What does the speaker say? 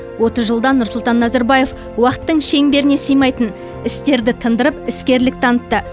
отыз жылда нұрсұлтан назарбаев уақыттың шеңберіне сыймайтын істерді тындырып іскерлік танытты